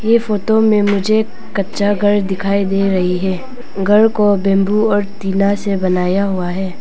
ये फोटो में मुझे कच्चा घर दिखाई दे रही है घर को बेंबू और टीना से बनाया हुआ है।